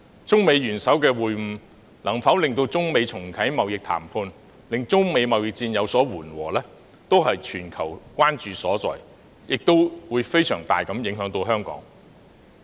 中美元首會晤，能否令中美重啟貿易談判，令中美貿易戰有所緩和，是全球關注所在，對香港的影響亦會非常大。